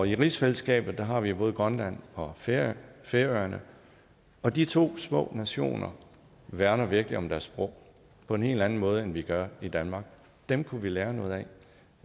i rigsfællesskabet har vi jo både grønland og færøerne færøerne og de to små nationer værner virkelig om deres sprog på en helt andet måde end vi gør i danmark dem kunne vi lære noget